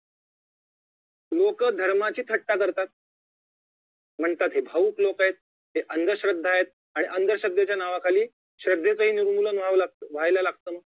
लोक धर्माची थट्टा करतात म्हणतात ही भावुक लोक आहेत ह्या अंधश्रद्धा आहेत आणि अंधश्रद्धेच्या नावाखाली श्रद्धेचेही निर्मूलन व्हावं लागत व्हायला लागत